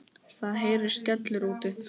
Það heyrist skellur úti.